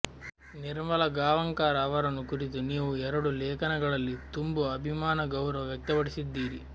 ನಿರ್ಮಲಾ ಗಾಂವಕಾರ ಅವರನ್ನು ಕುರಿತೂ ನೀವು ಎರಡೂ ಲೇಖನಗಳಲ್ಲಿ ತುಂಬು ಅಭಿಮಾನ ಗೌರವ ವ್ಯಕ್ತಪಡಿಸಿದ್ದೀರಿ